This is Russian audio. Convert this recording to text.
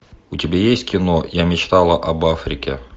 у тебя есть кино я мечтал об африке